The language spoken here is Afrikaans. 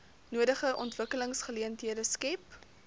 nodige ontwikkelingsgeleenthede skep